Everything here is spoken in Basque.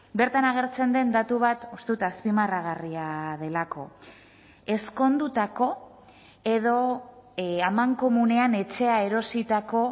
bertan agertzen den datu bat uste dut azpimarragarria delako ezkondutako edo amankomunean etxea erositako